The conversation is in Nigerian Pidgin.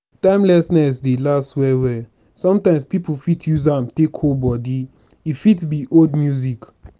timelessness dey last well well sometimes pipo fit use am take hold body e fit be old music